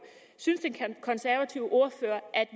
synes den konservative ordfører at